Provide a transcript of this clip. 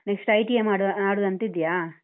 next ITI ಮಾಡುವ~ ಮಾಡುದಂತ ಇದ್ದೀಯಾ?